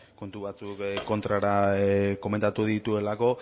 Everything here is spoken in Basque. kontu batzuk kontrara komentatu dituelako